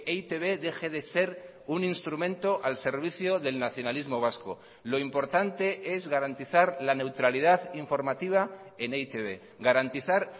e i te be deje de ser un instrumento al servicio del nacionalismo vasco lo importante es garantizar la neutralidad informativa en e i te be garantizar